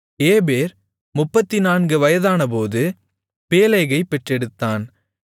ஏபேர் 34 வயதானபோது பேலேகைப் பெற்றெடுத்தான்